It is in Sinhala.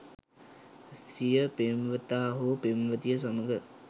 සිය පෙම්වතා හෝ පෙම්වතිය සමඟ